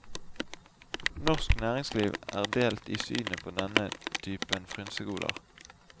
Norsk næringsliv er delt i synet på denne typen frynsegoder.